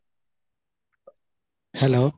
hello